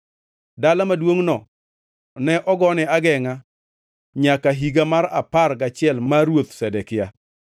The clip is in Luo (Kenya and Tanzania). Dala maduongʼno ne ogone agengʼa nyaka higa mar apar gachiel mar Ruoth Zedekia.